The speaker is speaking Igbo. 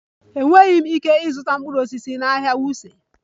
Enweghị m ike ịzụta mkpụrụ osisi na ahịa wuse